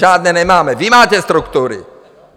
Žádné nemáme, vy máte struktury.